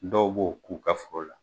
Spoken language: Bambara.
Dɔw b'u ka